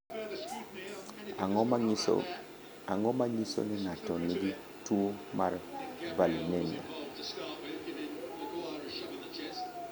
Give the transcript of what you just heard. Ang’o ma nyiso ni ng’ato nigi tuwo mar Valinemia?